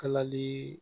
Kalali